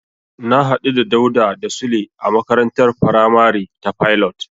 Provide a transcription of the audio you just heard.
Na hadu da Dauda da Sule a makarantar faramari ta Pilot.